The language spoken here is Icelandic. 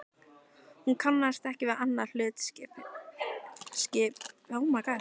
Hún kannaðist ekki við annað hlutskipti.